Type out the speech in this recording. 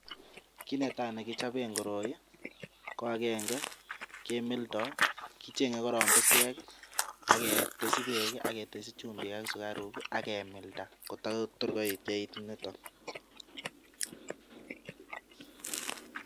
Kit netai nekichoben koroi ko agenge kemildo, kicheng'e korong bushek ak ketesyi beek ak ketesyi chumbik ak sukaruk ak kemilda kotago igeit nito.